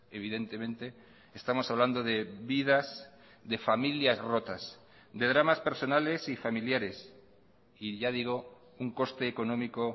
evidentemente estamos hablando de vidas de familias rotas de dramas personales y familiares y ya digo un coste económico